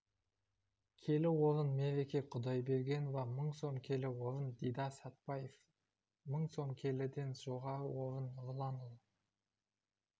келі орын мереке құдайбергенова мың сом келі орын дидар сәтбаев сың сом келіден жоғары орын нұрланұлы